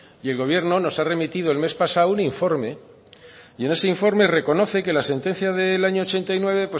y el gobierno nos ha remitido el mes pasado un informe y en ese informe reconoce que la sentencia del año ochenta y nueve